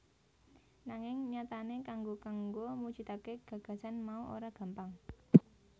Nanging nyatane kanggo kanggo mujudake gagasan mau ora gampang